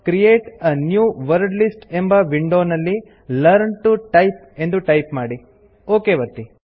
create a new wordlist ಎಂಬ window ನಲ್ಲಿ learn T O type ಎಂದು ಟೈಪ್ ಮಾಡಿ ಒಕ್ ಒತ್ತಿ